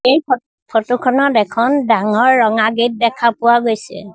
এই ফটো খনত এখন ডাঙৰ ৰঙা গেট দেখা পোৱা গৈছে।